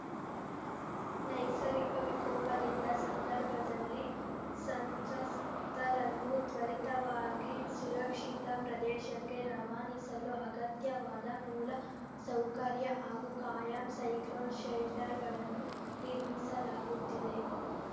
ನೈಸರ್ಗಿಕ ವಿಕೋಪದಿಂದ ಸಂದರ್ಭದಲ್ಲಿ ಸಂತ್ರಸ್ತರನ್ನು ತ್ವರಿತವಾಗಿ ಸುರಕ್ಷಿತ ಪ್ರದೇಶಕ್ಕೆ ರವಾನಿಸಲು ಅಗತ್ಯವಾದ ಮೂಲ ಸೌಕರ್ಯ ಹಾಗೂ ಕಾಯಂ ಸೈಕ್ಲೋನ್‌ ಶೆಲ್ಟರ್‌ಗಳನ್ನು ನಿರ್ಮಿಸಲಾಗುತ್ತಿದೆ